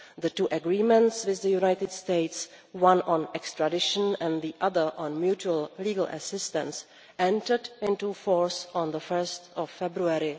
The two agreements with the United States, one on extradition and the other on mutual legal assistance, entered into force on 1 February